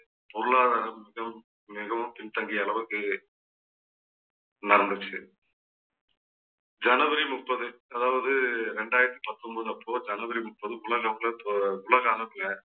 பொருளாதாரம் மிகவும் மிகவும் பின்தங்கிய அளவுக்கு நடந்துச்சு. ஜனவரி முப்பது அதாவது ரெண்டாயிரத்தி பத்தொன்பது அப்போ ஜனவரி முப்பதுக்குள்ள உலக அளவுல